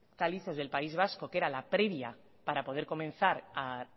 calizos del país vasco que era la previa para poder comenzar a